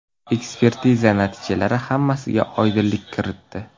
Ekspertiza natijalari hammasiga oydinlik kiritdi.